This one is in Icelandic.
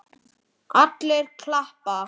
Þið eruð þjófar!